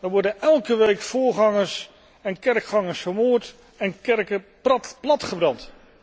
Daar worden elke week voorgangers en kerkgangers vermoord en kerken platgebrand.